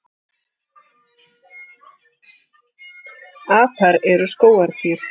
Apar eru skógardýr.